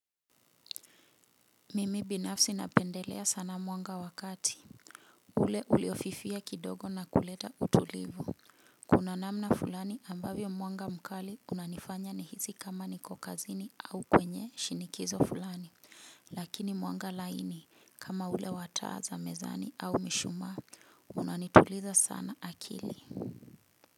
Mimi binafsi napendelea sana mwanga wa kati ule uliofifia kidogo na kuleta utulivu. Kuna namna fulani ambavyo mwanga mkali unanifanya nihisi kama niko kazini au kwenye shinikizo fulani. Lakini mwanga laini kama ule wa taa za mezani au mishumaa unanituliza sana akili.